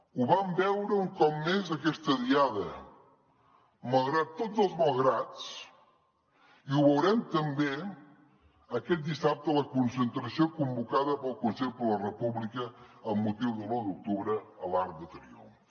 ho vam veure un cop més aquesta diada malgrat tots els malgrats i ho veurem també aquest dissabte a la concentració convocada pel consell per la república amb motiu de l’u d’octubre a l’arc de triomf